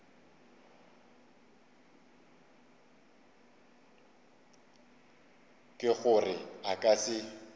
ke gore a ka se